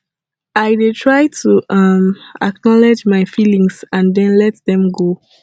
i dey try to um acknowledge my feelings and then let dem go